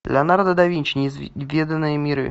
леонардо да винчи неизведанные миры